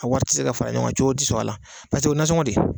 A wari tɛ se ka fara ɲɔgɔn cogo tɛ sɔrɔ a la paseke o ye nasɔngɔ de ye.